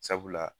Sabula